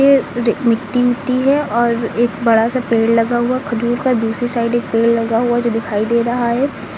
ए रे मिट्टी मिट्टी है और एक बड़ा सा पेड़ लगा हुआ खजूर का दूसरी साइड एक पेड़ लगा हुआ जो दिखाई दे रहा है।